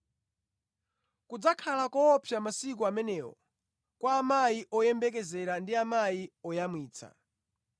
Kudzakhala koopsa mʼmasiku amenewo kwa amayi oyembekezera ndi amayi oyamwitsa!